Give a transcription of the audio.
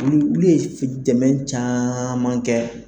Olu ye dɛmɛ caman kɛ